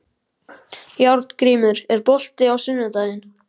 Járngrímur, er bolti á sunnudaginn?